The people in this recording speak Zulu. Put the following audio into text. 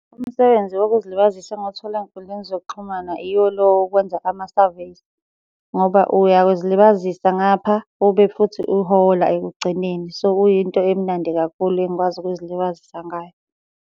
Umsebenzi wokuzilibazisa enguthole ey'nkundleni zokuxhumana iwo lo wokwenza ama-surveys, ngoba uyazilibazisa ngapha, ube futhi uhola ekugcineni. So, uyinto emnandi kakhulu engikwazi ukuzilibazisa ngayo.